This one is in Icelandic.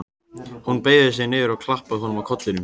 Hún beygði sig niður og klappaði honum á kollinn.